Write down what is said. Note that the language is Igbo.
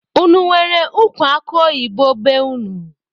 Unu enwere ụkwụ akuoyibo be unu?